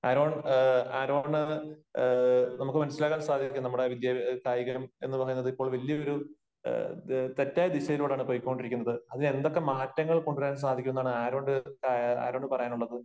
Aaron Aaron നമുക്ക് മനസ്സിലാക്കാൻ സാധിക്കും നമ്മുടെ വിദ്യ കായികം എന്നു പറയുന്നത് ഇപ്പോൾ വലിയ ഒരു തെറ്റായ ദിശയിലൂടെയാണ് പൊയ്ക്കൊണ്ടിരിക്കുന്നത്. അതിന് എന്തൊക്കെ മാറ്റങ്ങൾ കൊണ്ട് വരാൻ സാധിക്കും എന്നാണ് ആരോന് ആരോണ് പറയാനുള്ളത്?